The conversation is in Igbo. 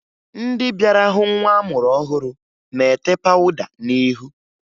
Ndị bịara hụ nwa amụrụ ọhụrụ na-ete pawụda n'ihu